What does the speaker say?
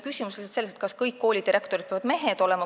Küsimus on lihtsalt selles, kas kõik koolidirektorid peavad mehed olema.